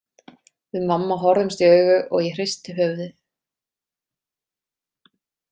Við mamma horfðumst í augu og ég hristi höfuðið.